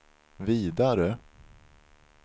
vidare